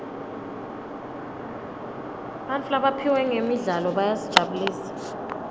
bantfu labaphiwe ngemidlalo bayasijabulisa